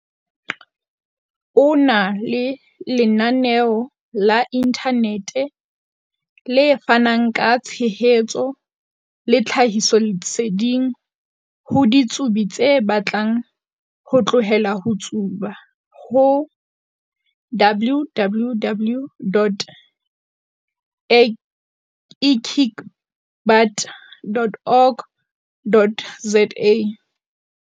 O na le lenaneo la inthanete, le fanang ka tshehetso le tlhahisoleseding ho ditsubi tse batlang ho tlohela ho tsuba ho - www.ekickbutt.org.za.